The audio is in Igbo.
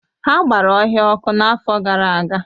Ha gbara ọhịa ọkụ n’afọ gara aga.